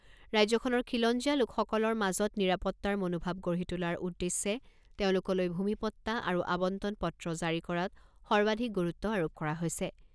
ৰাজ্যখনৰ খিলঞ্জীয়া লোকসকলৰ মাজত নিৰাপত্তাৰ মনোভাৱ গঢ়ি তোলাৰ উদ্দেশ্যে তেওঁলোকলৈ ভূমিপট্টা আৰু আৱণ্টন পত্ৰ জাৰি কৰাত সৰ্বাধিক গুৰুত্ব আৰোপ কৰা হৈছে।